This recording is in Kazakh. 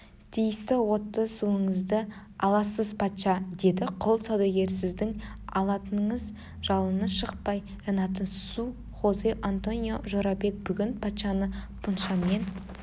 тиісті отты суыңызды аласыз патша деді құл саудагерісіздің алатыныңыз жалыны шықпай жанатын су хозе-антонио жорабек бүгін патшаны пуншамен